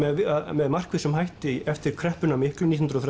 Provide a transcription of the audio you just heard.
með markvissum hætti eftir kreppuna miklu nítján hundruð